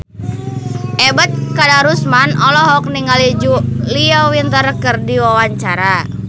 Ebet Kadarusman olohok ningali Julia Winter keur diwawancara